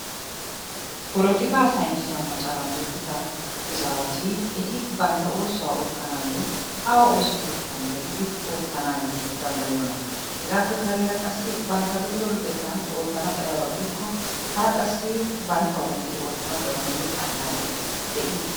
Polotikaa saynissiya macaran luxida izaawati eti bantta oosuwa oottanaayyo awu ooso keettan gelidi oottanaayyo danddayiyonaa? Hegaappe kareera qassi bantta luxido luxettan oottana xayiyaba gidikko hara qassi banttawu medhdhidi oottanawu danddayiyo allaallee de'ii?